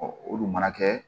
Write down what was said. olu mana kɛ